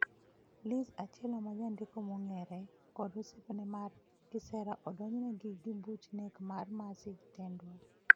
Liz Achillo ma jandiko mong'ere, kod osiepne mar kisera odonjnegi gi buch nek marMercy Tendwa.